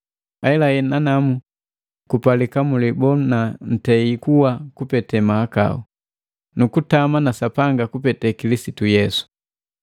Ahelahela nanamu kupalika mulibona ntei kuwa kupete mahakau, nukutama pamu na Sapanga kupete na Kilisitu Yesu.